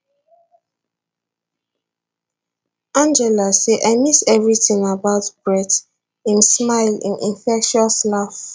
angela say i miss evritin about brett im smile im infectious laugh